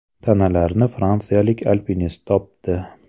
Tanalarni fransiyalik alpinist topdi.